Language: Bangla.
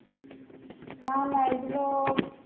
না না এগুলো